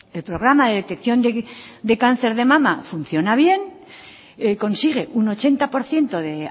el programa de detección de cáncer de mama funciona bien consigue un ochenta por ciento de